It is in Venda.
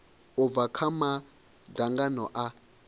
u bva kha madzangano a